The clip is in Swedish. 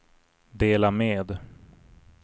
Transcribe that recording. dela med